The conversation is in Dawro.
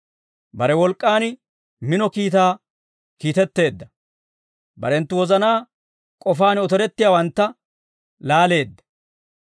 Bare wolk'k'aan mino kiitaa kiitetteedda; barenttu wozanaa k'ofaan otorettiyaawantta, laaleedda.